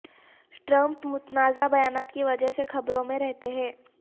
Trump متنازع بیانات کی وجہ سے خبروں میں رہتے ہیں